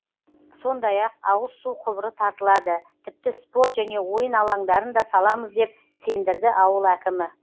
сондай ақ ауыз су құбыры тартылады тіпті спорт және ойын алаңдарын да саламыз деп сендірді ауыл әкімі